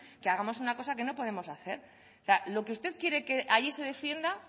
que hagamos una cosa que no podemos hacer lo que usted quiere que allí se defienda